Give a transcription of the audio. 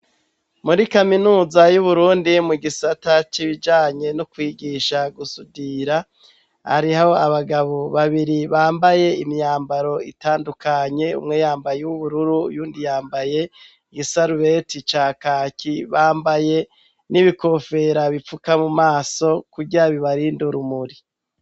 Muri kaminuza y'Uburundi mu gisata c'ibijanye n'ukwigisha gusudira hariho abagabo babiri bambaye imyambaro itandukanye, umwe yambaye uwubururu, uyundi yambaye igisarubeti ca kaki, bambaye n'ibikofera bipfuka mu maso kugira bibarinde urumuri.